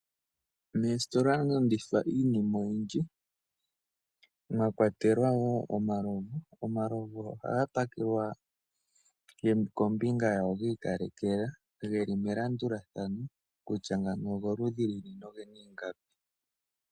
Moositola ohamu landithwa iinima oyindji mwa kwatelwa wo omalovu. Omalovu ohaga pakelwa ge li kombinga yawo ga ikalekelwa, ge li melandulathano kutya ngano ogoludhi luni noge na ingapi.